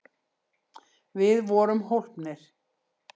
Við vorum hólpnir!